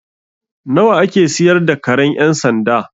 Nawa a ke siyar da karen ƴan sanda?